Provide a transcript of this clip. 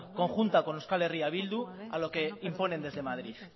conjunta con euskal herria bildu a lo que imponen desde madrid